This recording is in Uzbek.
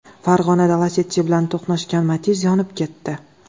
Farg‘onada Lacetti bilan to‘qnashgan Matiz yonib ketdi.